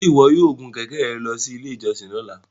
Ṣe iwọ yoo gun kẹkẹ rẹ lọ si ile ijọsin lọla?